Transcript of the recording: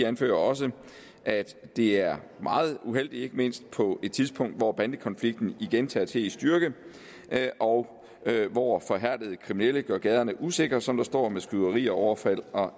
anfører også at det er meget uheldigt ikke mindst på et tidspunkt hvor bandekonflikten igen tager til i styrke og hvor forhærdede kriminelle gør gaderne usikre som der står med skyderier overfald og